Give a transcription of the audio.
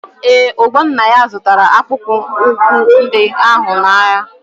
Ee, Ugonnaya zụtara akpụkpọ ụkwụ ndị ahụ n'ahịa.